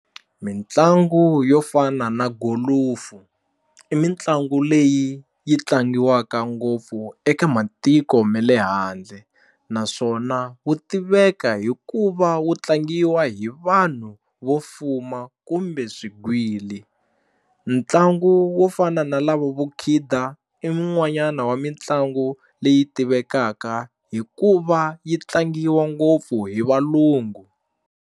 Mitlangu yo fana na golofu i mitlangu leyi yi tlangiwaka ngopfu eka matiko ma le handle naswona wu tiveka hi ku va wu tlangiwa hi vanhu vo fuma kumbe swigwili ntlangu wo fana na lava vo khida i mun'wanyana wa mitlangu leyi tivekaka hi ku va yi tlangiwa ngopfu hi valungu.